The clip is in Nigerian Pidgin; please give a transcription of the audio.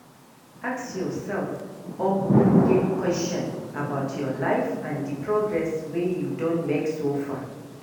Ask yourself ogbonge question about your life and di progress wey you don make so far